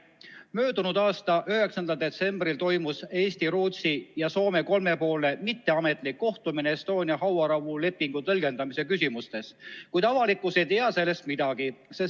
Möödunud aasta 9. detsembril toimus Eesti, Rootsi ja Soome kolmepoolne mitteametlik kohtumine Estonia hauarahu lepingu tõlgendamise küsimustes, kuid avalikkus ei tea sellest midagi.